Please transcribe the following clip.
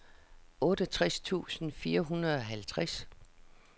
otteogtres tusind fire hundrede og halvtreds